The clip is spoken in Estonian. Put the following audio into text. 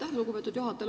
Aitäh, lugupeetud juhataja!